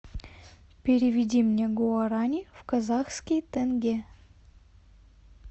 переведи мне гуарани в казахский тенге